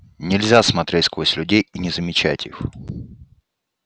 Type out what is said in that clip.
нельзя смотреть сквозь людей и не замечать их